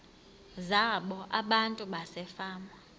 zabo abantu basefama